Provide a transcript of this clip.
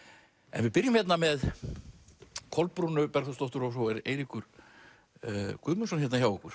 en við byrjum hérna með Kolbrúnu Bergþórsdóttur og svo er Eiríkur Guðmundsson hjá okkur